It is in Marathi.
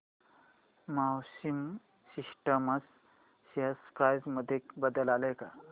मॅक्सिमा सिस्टम्स शेअर प्राइस मध्ये बदल आलाय का